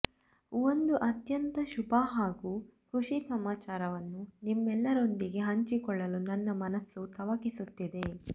ಒಂದು ಅತ್ಯಂತ ಶುಭ ಹಾಗೂ ಖುಶಿ ಸಮಾಚಾರವನ್ನು ನಿಮ್ಮೆಲ್ಲರೊಂದಿಗೆ ಹಂಚಿಕೊಳ್ಳಲು ನನ್ನ ಮನಸ್ಸು ತವಕಿಸುತ್ತಿದೆ